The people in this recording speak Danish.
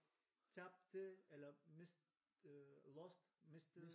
Tabte eller mistede lost mistede